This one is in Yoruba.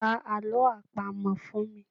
Pa alọ́ àpamọ fun mi